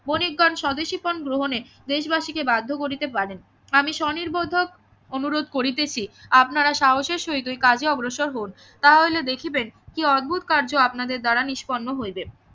বণিকগণ স্বদেশী পণ গ্রহণে দেশ বাসীকে বাধ্য করিতে পারেন আমি স্বনির্বোধক অনুরোধ করিতেছি আপনারা সাহসের সহিত ওই কাজে অগ্রসর হন তাহলে দেখিবেন কি অদ্ভুত কার্য আপনাদের দ্বারা নিস্পন্ন হইবে